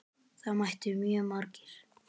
Það mættu mjög margir.